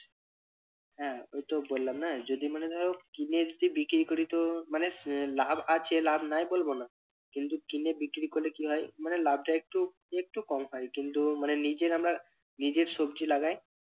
হ্যাঁ ওই তো বললাম না যদি মানে ধরো কিনে যদি বিক্রি করি তো মানে লাভ আছে লাভ নাই বলবো না কিন্তু কিনে বিক্রি করলে কি হয় মানে লাভটা একটু, একটু কম হয় কিন্তু মানে নিজের আমরা নিজের সবজি লাগাই